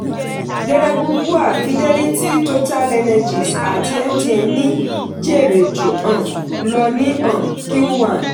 geregu bua fidelity total energies àti mtn ni jèrè jù um lọ ní um q one.